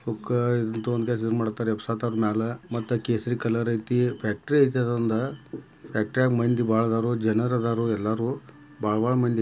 ಹುಕ್ಕಾ ತಗೊಂಡ್ ಎಬಸತರು ಮ್ಯಾಲ ಕೇಸರಿ ಕಲರ್ ಏತಿ ಫ್ಯಾಕ್ಟರಿ ಏತಿ ಅದೊಂದ ಫ್ಯಾಕ್ಟರಿಯಾಗ ಮಂದಿ ಆದರೂ ಜನರ ಅದಾರು ಬಾಳ ಬಾಳ ಮಂದಿ --